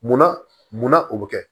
Munna munna o bɛ kɛ